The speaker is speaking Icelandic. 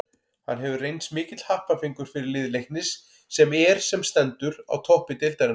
Hann hefur reynst mikill happafengur fyrir lið Leiknis sem er sem stendur á toppi deildarinnar.